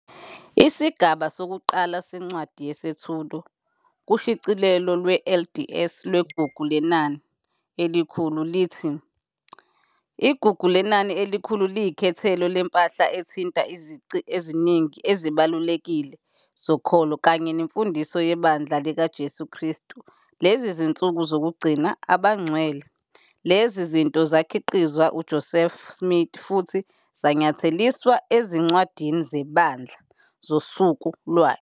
Isigaba sokuqala seNcwadi Yesethulo kushicilelo lwe-LDS lweGugu Lenani eliKhulu lithi- "IGugu Lenani Elikhulu liyikhethelo lempahla ethinta izici eziningi ezibalulekile zokholo kanye nemfundiso yeBandla likaJesu Kristu Lezinsuku Zokugcina. Abangcwele. Lezi zinto zakhiqizwa uJoseph Smith futhi zanyatheliswa ezincwadini zeBandla zosuku lwakhe."